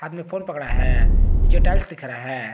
Phone पकड़ा है नीचे टाइल्स दिख रहा है।